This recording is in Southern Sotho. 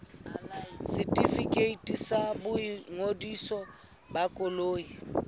setefikeiti sa boingodiso ba koloi